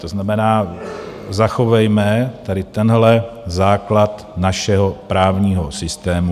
To znamená, zachovejme tady tenhle základ našeho právního systému.